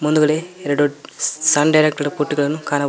ಮುಂದ್ಗಡೆ ಎರಡು ಸ್ ಸನ್ ಡೈರೆಕ್ಟ್ ತರಹದ ಬುಟ್ಟಿಗಳನ್ನು ಕಾಣಬಹುದ್ --